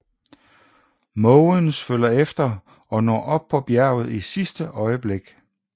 Måvens følger efter og når op på bjerget i sidste øjeblik